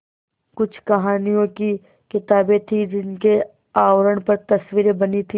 कुछ कहानियों की किताबें थीं जिनके आवरण पर तस्वीरें बनी थीं